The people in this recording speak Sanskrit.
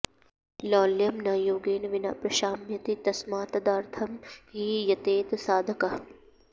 लौल्यं न योगेन विना प्रशाम्यति तस्मात्तदर्थं हि यतेत साधकः